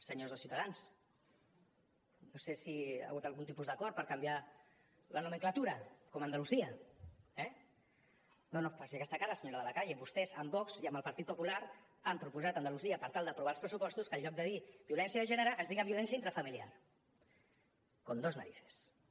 senyors de ciutadans no sé si hi ha hagut algun tipus d’acord per canviar la nomenclatura com a andalusia eh no no faci aquesta cara senyora de la calle vostès amb vox i amb el partit popular han proposat a andalusia per tal d’aprovar els pressupostos que en lloc de dir violència de gènere es digui violència intrafamiliar con dos narices eh veus